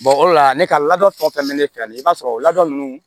o de la ne ka lada fɛn o fɛn bɛ ne fɛ yan i b'a sɔrɔ o ladon nunnu